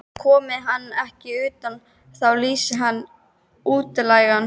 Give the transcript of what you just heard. Komi hann ekki utan, þá lýsi ég hann útlægan.